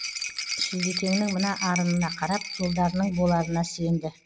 шілдекеңнің мына арынына қарап жолдарының боларына сенді